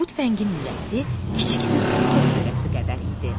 Bu tüfəngin lüləsi kiçik bir top lüləsi qədər idi.